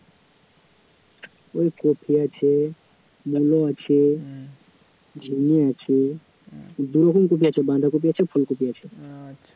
ওই কপি আছে মূলো আছে ঝিঙে আছে, দুরকম কপি আছে, বাঁধাকপি আছে ফুলকপি আছে,